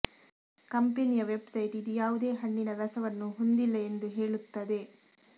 ಕಂಪೆನಿಯ ವೆಬ್ಸೈಟ್ ಇದು ಯಾವುದೇ ಹಣ್ಣಿನ ರಸವನ್ನು ಹೊಂದಿಲ್ಲ ಎಂದು ಹೇಳುತ್ತದೆ